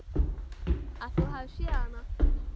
Að þú hafir séð hana?